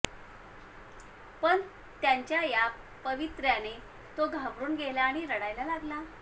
पण त्यांच्या या पवित्र्याने तो घाबरून गेला आणि रडायला लागला